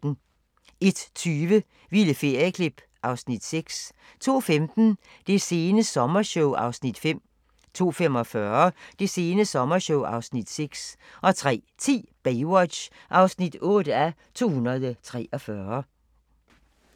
01:20: Vilde ferieklip (Afs. 6) 02:15: Det sene sommershow (Afs. 5) 02:45: Det sene sommershow (Afs. 6) 03:10: Baywatch (8:243)